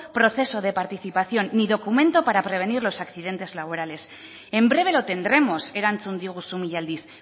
proceso de participación ni documento para prevenir los accidentes laborales en breve lo tendremos erantzun diguzu mila aldiz